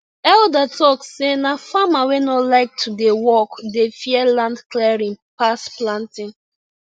elder talk say na farmer wey no like to dey work dey fear land clearing pass planting